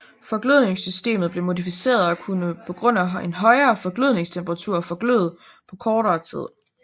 Forglødningssystemet blev modificeret og kunne på grund af en højere forglødningstemperatur forgløde på kortere tid